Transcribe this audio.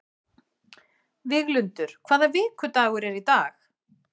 Víglundur, hvaða vikudagur er í dag?